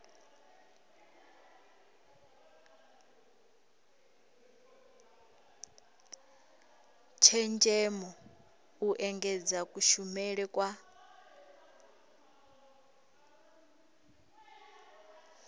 tshenzhemo u engedza kushumele kwa